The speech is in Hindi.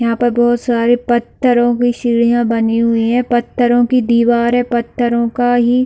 यहाँ पर बहुत सारे पथरो की सीडिया बानी हुई हैं पथरो की दीवार है और पथरो का ही --